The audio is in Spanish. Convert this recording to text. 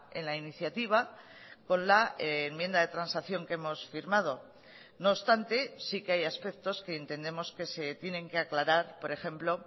en la iniciativa con la enmienda de transacción que hemos firmado no obstante sí que hay aspectos que entendemos que se tienen que aclarar por ejemplo